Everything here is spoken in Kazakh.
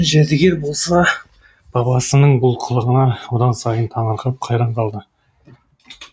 жәдігер болса бабасының бұл қылығына одан сайын таңырқап қайран қалды